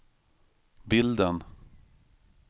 bilden